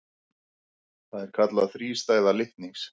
Það er kallað þrístæða litnings.